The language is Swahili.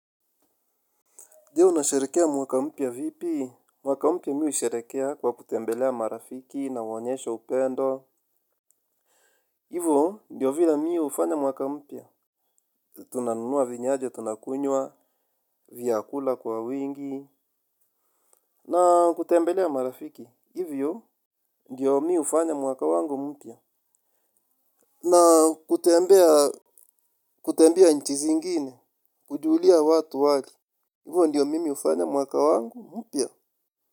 Je unasharehekea mwaka mpya vipi? Mwaka mpya mimi husherehekea kwa kutembelea marafiki nawaonyesha upendo. Hivo, ndio vile mimi hufanya mwaka mpya. Tunanunua vinyawaji tunakunywa, vyakula kwa wingi. Na kutembelea marafiki, hivyo, ndio mimi hufanya mwaka wangu mpya. Na kutembea, kutembea nchi zingine, kujulia watu hali. Hivo ndivyo mimi hufanya mwaka wangu mpya.